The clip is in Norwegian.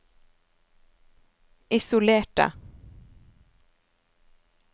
isolerte